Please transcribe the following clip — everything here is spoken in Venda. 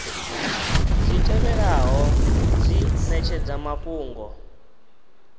dzi tevhelaho dzi netshedza mafhungo